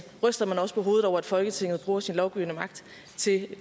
ryster man også på hovedet over at folketinget bruger sin lovgivende magt